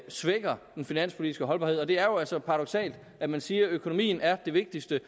svækker den finanspolitiske holdbarhed det er jo altså paradoksalt at man siger at økonomien er det vigtigste